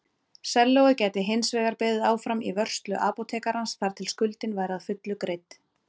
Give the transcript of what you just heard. Sellóið gæti hinsvegar beðið áfram í vörslu apótekarans þar til skuldin væri að fullu greidd.